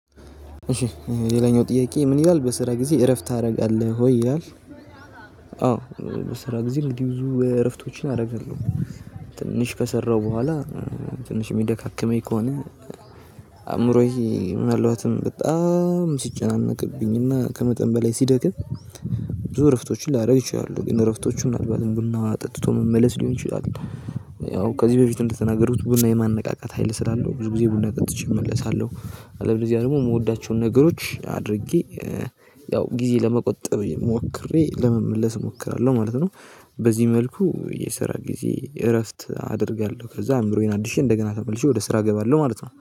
ሌላኛው ጥያቄ ምን ይላል በስራ ጊዜ እረፍት ታደርጋለህ ሆይ ይላል? አዎ በስራ ጊዜ እንግዲህ ብዙ እረፍቶችን አደረጋለሁ። ትንሽ ከሰራሁ በኋላ ትንሽ የሚደካከመኝ ከሆነ አእምሮዬ ምን አልባትም በጣም ሲጨናነቅብኝና ከመጠን በላይ ሲደክም። ብዙ እረፍቶችን ላደርግ ይችላሁ እረፍቶቹ ምናልባት ዝም ቡና ጠጥቶ መመለስ ሊሆን ይችላል። ያው ከዚህ በፊት እንደተናገሩት ቡና የማነቃቃት ሀይል ስላለው ብዙ ጊዜ ቡና ቀጥቼ እመለሳለሁ። አለበለዚያ ደግሞ የምወዳቸውን ነገሮች አድርጌ ያው ጊዜ ለመቆጠብ ሞክሬ ለመመለስ እሞክራለሁ ማለት ነው። በዚህ መልኩ የሰራ ጊዜ እረፍት አደርጋለሁ ከዛ አእምሮዬን አድሼ እንደገና ተመልሼ ወደ ስራ እገባለሁ ማለት ነው